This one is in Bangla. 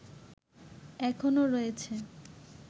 এখনো রয়েছে